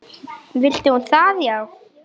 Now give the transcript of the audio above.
Vildi hún það já?